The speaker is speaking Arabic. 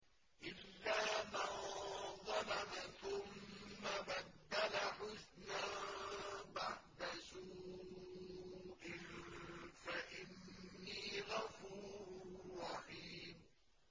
إِلَّا مَن ظَلَمَ ثُمَّ بَدَّلَ حُسْنًا بَعْدَ سُوءٍ فَإِنِّي غَفُورٌ رَّحِيمٌ